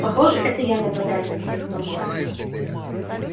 похоже это я нападаю на всех том